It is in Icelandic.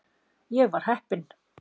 Ég var heppinn.